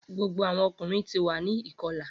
Gbogbo awọn ọkunrin ti wa ni ikọla